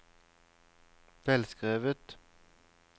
velskrevet